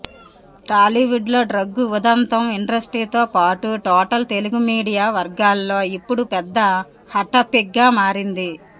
టాలీవుడ్లో డ్రగ్ ఉదంతం ఇండస్ట్రీతో పాటు టోటల్ తెలుగు మీడియా వర్గాల్లో ఇప్పుడు పెద్ద హాట్టాపిక్గా మారింది